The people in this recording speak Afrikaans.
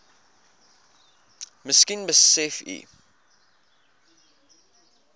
miskien besef u